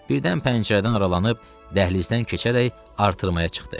Birdən pəncərədən aralanıb dəhlizdən keçərək artırmağa çıxdı.